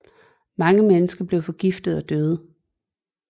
Mange mennesker blev forgiftet og døde